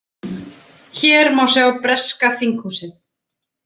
Hér má sjá breska þinghúsið.